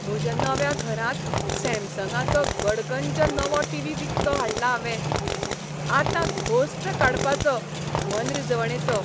म्हज्या नव्या घरांत सॅमसंगाचो गडगंज नवो टीव्ही विकतो हाडला हावें. आतां घोस्त काडपाचो मनरिजवणेचो!